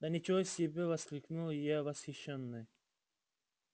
да ничего себе воскликнул я восхищённый